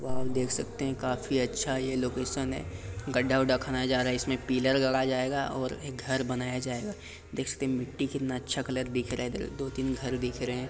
देख सकते है यह काफी अच्छा लोकैशन है गड्डा वड़े खाने जा रहा है पिलर लगाई जाईगा और एक घर बनाई जाईगा देखिए मट्टी बहुत अच्छे कलर की है।